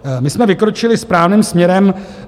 My jsme vykročili správným směrem.